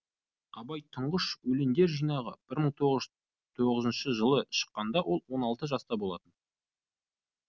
абайдың тұңғыш өлеңдер жинағы мың тоғыз жүз тоғызыншы жылы шыққанда ол он алты жаста болатын